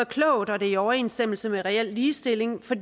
klogt og i overensstemmelse med reel ligestilling for